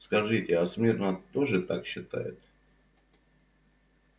скажите а смирно тоже так считает